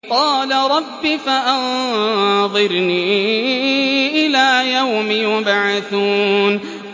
قَالَ رَبِّ فَأَنظِرْنِي إِلَىٰ يَوْمِ يُبْعَثُونَ